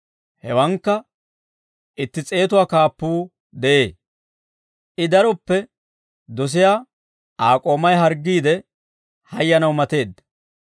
Hewankka itti s'eetuwaa kaappuu de'ee. I daroppe dosiyaa Aa k'oomay harggiide hayyanaw mateedda.